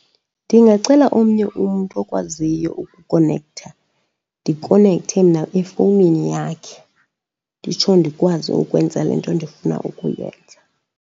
Ndingacela omnye umntu okwaziyo ukukonektha ndikonekthe mna efowunini yakhe. Nditsho ndikwazi ukwenza le nto ndifuna ukuyenza.